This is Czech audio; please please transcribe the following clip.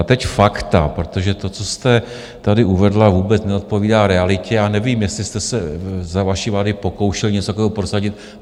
A teď fakta, protože to, co jste tady uvedla, vůbec neodpovídá realitě, a nevím, jestli jste se za vaší vlády pokoušeli něco takového prosadit.